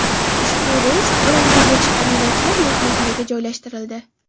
Ushbu reys bilan yo‘lga chiqqan yo‘lovchilar mehmonxonaga joylashtirildi.